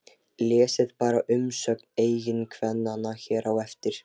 Lesið bara umsögn eiginkvennanna hér á eftir